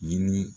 Ɲini